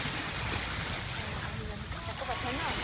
অ, আহিম আহিম কাকোপথাৰ ন